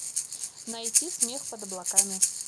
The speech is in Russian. найти смех под облаками